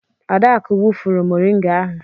Adaku wụfuru mọringa ahụ.